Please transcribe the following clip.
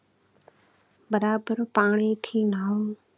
બરાબર પાણીથી હમ